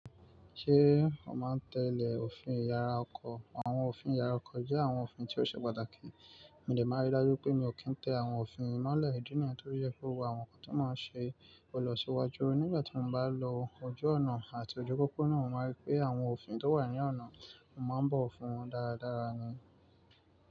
Ṣé o máa ń tẹ́le òfin ìyára ọkọ̀? Àwọn òfin ìyára ọkọ̀ jẹ́ àwọn òfin tí ó ṣe pàtàkì. Mo dẹ má rí dájú pé mi ò kí ń tẹ àwọn òfin yi mọ́lẹ̀ ìdí nìyẹn to fi yẹ kó wọ àwọn nnkan tí ó máa ṣe ọlọ̀ṣuwàjú. Nígbà tí mo bá lọ ojú ọ̀nà àti ojú pópó náà, mo máa rí pé àwọn òfin tí ó wà ní ọ̀nà, mo máa bọ̀ fún wọn dáradára ni.